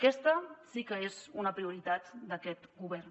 aquesta sí que és una prioritat d’aquest govern